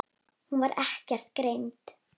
Hún var ekkert greind.